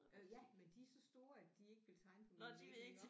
Øh ja men de er så store at de ikke vil tegne på mine vægge iggå